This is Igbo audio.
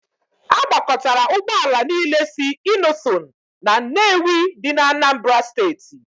A gbakọtara Ụgbọ ala niile si Innoson na Nnewi dị n'Anambra steeti.